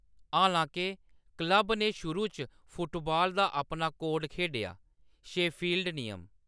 हालांके, क्लब ने शुरू च फुटबाल दा अपना कोड खेढेआ: शेफील्ड नियम।